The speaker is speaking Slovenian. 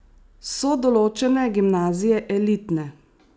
So določene gimnazije elitne?